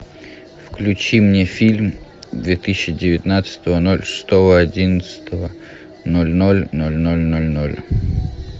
включи мне фильм две тысячи девятнадцатого ноль шестого одиннадцатого ноль ноль ноль ноль ноль ноль